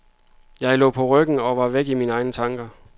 Jeg lå på ryggen og var væk i mine egne tanker.